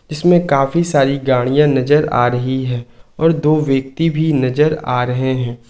इसमें काफी सारी गाड़ियां नजर आ रही हैं और दो व्यक्ति भी नजर आ रहे हैं।